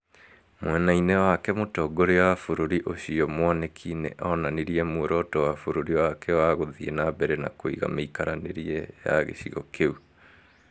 Mwena-inĩ wake, Mũtongoria wa bũrũri ũcio, mwaniki, nĩ onanirie muoroto wa bũrũri wake wa gũthiĩ na mbere na kũiga mĩikaranĩrie ya gĩcigo kĩu.